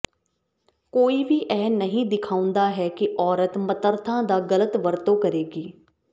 ਕੋਈ ਵੀ ਇਹ ਨਹੀਂ ਦਿਖਾਉਂਦਾ ਹੈ ਕਿ ਔਰਤ ਮਤੱਰਥਾ ਦਾ ਗਲਤ ਵਰਤੋਂ ਕਰੇਗੀ